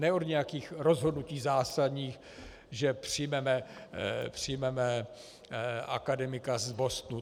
Ne od nějakých rozhodnutí zásadních, že přijmeme akademika z Bostonu.